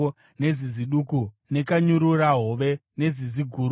nezizi duku, nekanyururahove, nezizi guru,